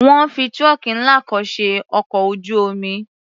Wọ́n fi trunk ńlá kan ṣe ọkọ̀ ojú-omi.